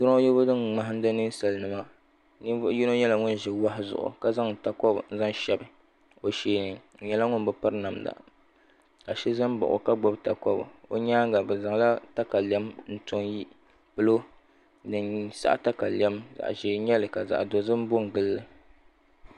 Droyibu din ŋmahindi ninsali nima ninvuɣ yino nyala ŋun ʒi wahu zuɣu ka zaŋ takɔbu n shabi o shɛɛni o nyala ŋun bi piri namda ka so zani m ba o ka gbibi takɔbu o nyaaŋa be zaŋ la katalem ntɔ n pilo din saɣ katalem zaɣ ʒɛɛ n nyali ka.zaɣ dozim ko n gili li